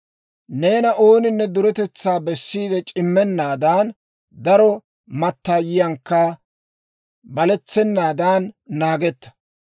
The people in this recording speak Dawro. Neena ooninne duretetsaa bessiide c'immennaadan, daro mattaayiyankka baletsennaadan naagetta.